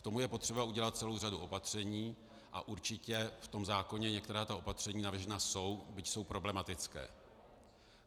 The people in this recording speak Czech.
K tomu je potřeba udělat celou řadu opatření a určitě v tom zákoně některá ta opatření navržená jsou, byť jsou problematická.